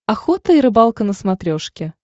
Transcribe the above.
охота и рыбалка на смотрешке